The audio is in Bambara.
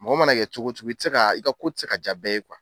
Mɔgɔ mana kɛ cogo cogo i te se ka i ka ko te se ka ja bɛɛ ye kuwa